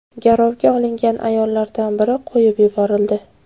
Garovga olingan ayollardan biri qo‘yib yuborildi.